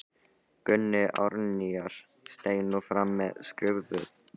Gunni Árnýjar steig nú fram með skrifuð blöð.